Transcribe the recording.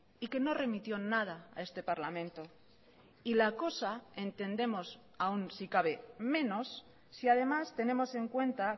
y que no remitió nada a este parlamento y la cosa entendemos aún si cabe menos si además tenemos en cuenta